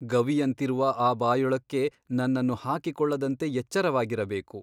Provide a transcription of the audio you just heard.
ಗವಿಯಂತಿರುವ ಆ ಬಾಯೊಳಕ್ಕೆ ನನ್ನನ್ನು ಹಾಕಿಕೊಳ್ಳದಂತೆ ಎಚ್ಚರವಾಗಿರಬೇಕು.